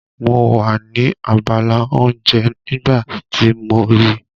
Mo wà ní abala oúnjẹ nígbà tí mo rí i.